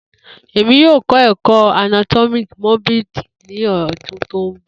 Emi yoo kọ ẹkọ anatomi morbid ni ọdun to nbọ